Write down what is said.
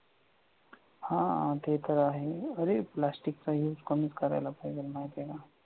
हा ते तर आहेच. अरे प्लास्टिकचा use कमीच करायला पाहिजे माहिती आहे का?